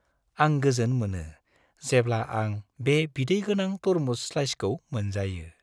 आं गोजोन मोनो जेब्ला आं बे बिदै गोनां तरमुज स्लाइसखौ मोनजायो।